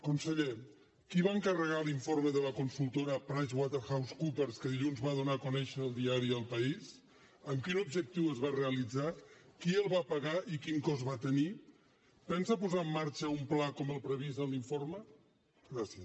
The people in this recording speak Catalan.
conseller qui va encarregar l’informe de la consultora pricewaterhousecoopers que dilluns va donar a conèixer el diari el paísobjectiu es va realitzar qui el va pagar i quin cost va tenir pensa posar en marxa un pla com el previst en l’informe gràcies